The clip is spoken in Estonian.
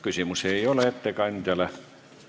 Küsimusi ettekandjale ei ole.